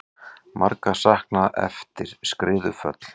Margra saknað eftir skriðuföll